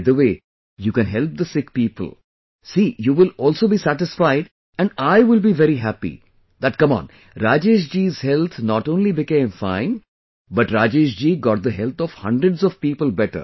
By the way, you can help the sick people, see you will also be satisfied and I will be very happy that come on Rajesh ji's health not only became fine but Rajesh ji got the health of hundreds of people better